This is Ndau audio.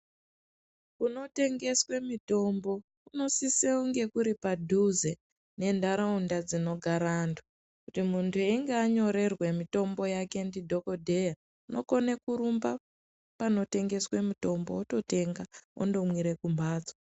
Kunotengeswe mitombo kunosise kunge kuri padhuze nenharaunda dzinogara antu. Kuti muntu einge anyorerwe mitombo yake ndidhogodheya unokone kurumba panotengeswe mitombo ototenga ondomwire kumhatso.